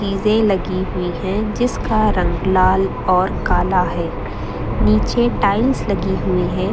चीजें लगी हुई हैं जिसका रंग लाल और काला है नीचे टाइल्स लगी हुई हैं।